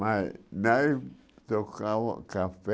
Mas, nós trocávamos café